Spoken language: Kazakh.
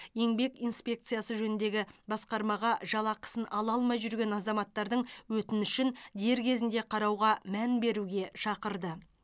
еңбек инспекциясы жөніндегі басқармаға жалақысын ала алмай жүрген азаматтардың өтінішін дер кезінде қарауға мән беруге шақырды